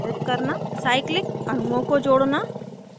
cyclic अणुओं को जोड़ना